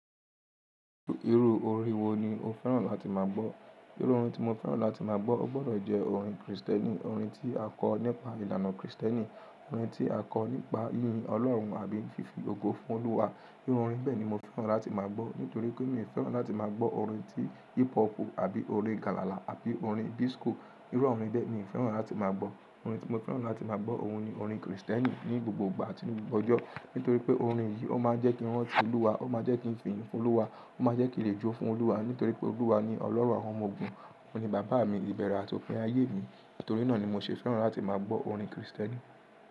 Irú orin wo ni o fẹ́ràn láti má gbọ́? Irú orin tí mo fẹ́ràn láti má gbọ́, o gbọ́dọ̀ jẹ́ orin Kristẹni, orin tí a kọ nípa ìlànà Kristẹni, orin tí a kọ nípa yínyin Ọlọ́run àbí fífi ogo fún Olúwa. Irú orin bẹ́ẹ̀ ni mo fẹ́ràn láti má gbọ́. Nítorí pé mi ò fẹ́ràn láti má gbọ́ orin tí hip hop àbí orin galala àbí orin bísko irú awon orin bẹ́ẹ̀, mi ò fẹ́ràn láti máa gbọ́. Orin tí mo fẹ́ràn láti máa gbọ́, òun ni orin Kristẹni ní gbogbo ìgbà atí ńi gbogbo ọjọ́. Nítorí pé orin yìí ó máa jẹ́ kí n rántí Olúwa, ó máa jẹ́ kí n fiyì fún Olúwa, ó máa jẹ́ kí n lè jó fún Olúwa. Nítorí pé Olúwa ni Ọlọ́run àwọn ọmọ ogun, òun ni bàbá mi, ìbẹ̀rẹ̀ àti òpin ayé mi. Nítorí náà ni mo ṣe fẹ́ràn láti máa gbọ́ orin Kristẹni.